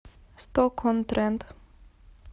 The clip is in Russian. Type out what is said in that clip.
сток он трент